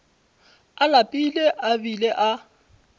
a lapile a bile a